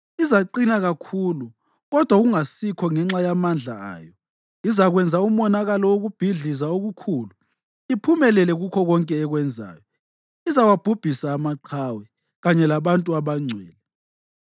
Izaqina kakhulu kodwa kungasikho ngenxa yamandla ayo. Izakwenza umonakalo wokubhidliza okukhulu, iphumelele kukho konke ekwenzayo. Izawabhubhisa amaqhawe kanye labantu abangcwele.